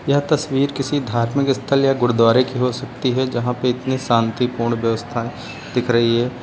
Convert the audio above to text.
यह तस्वीर किसी धार्मिक स्थल या गुरुद्वारे की हो सकती है जहां पे इतनी शांतिपूर्ण व्यवस्थाएं दिख रही है।